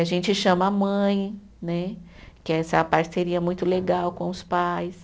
A gente chama a mãe né, que é essa parceria muito legal com os pais.